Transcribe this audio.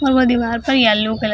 और वो दिवार पर येलो कलर --